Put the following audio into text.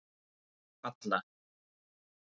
Alla